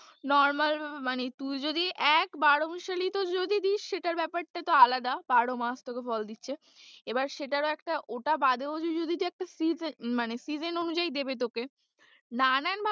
Normal ভাবে মানে তুই যদি এক বারোমেশালি যদি দিস সেটার ব্যাপারটা তো আলাদা বারোমাস তোকে ফল দিচ্ছে এবার সেটারও একটা ওটা বাদেও যদি তুই একটা মানে season অনুযায়ী দেবে তোকে নানাভাবে,